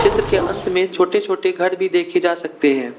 त्र के अंत में छोटे छोटे घर भी देखे जा सकते हैं।